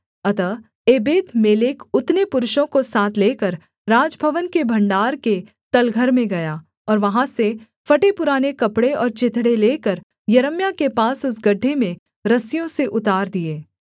अतः एबेदमेलेक उतने पुरुषों को साथ लेकर राजभवन के भण्डार के तलघर में गया और वहाँ से फटेपुराने कपड़े और चिथड़े लेकर यिर्मयाह के पास उस गड्ढे में रस्सियों से उतार दिए